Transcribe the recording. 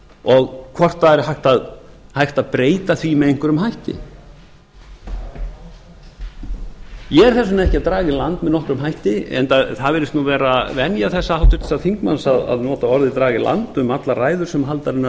og hvort hægt er að breyta því með einhverjum hætti ég er þess vegna ekki að draga í land með einhverjum hætti en það virðist vera venja þessa háttvirts þingmanns að nota orðið draga í land um allar ræður sem haldnar eru